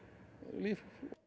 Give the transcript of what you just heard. líf